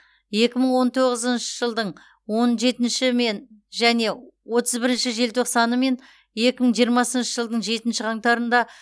екі мың он тоғызыншы жылдың он жетінші мен және отыз бірінші желтоқсаны мен екі мың жиырмасыншы жылдың жетнші қаңтарында